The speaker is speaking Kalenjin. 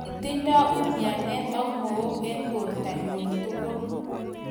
Kitindoi umianet ak mook eng bortonyi tugul.